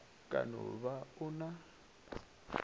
ka no ba o na